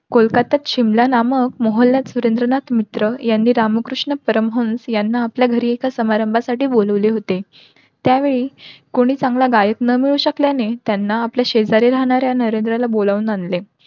कोलकातात शिमला नामक यांनी रामकृष्ण परमहंस यांना आपल्या घरी समारंभा साठी बोलावले होते. त्यावेळी कोणी चांगला गायक न मिळू शकल्याने त्यांना आपले शेजारी राहणाऱ्या नरेंद्रला बोलावून आणले.